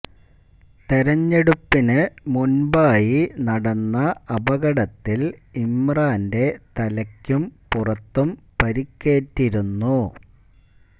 തെരഞ്ഞെടുപ്പിന് മുന്പായി നടന്ന അപകടത്തില് ഇമ്രാന്റെ തലക്കും പുറത്തും പരിക്കറ്റിരുന്നു